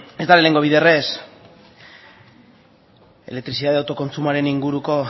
ez da lehengo biderrez elektrizitate autokontsumoaren inguruko